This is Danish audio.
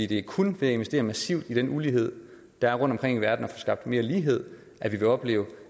det er kun ved at investere massivt i den ulighed der er rundtomkring i verden og få skabt mere lighed at vi vil opleve